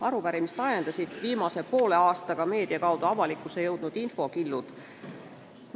Arupärimist esitama ajendasid viimase poole aasta jooksul meedia kaudu avalikuks saanud infokillud.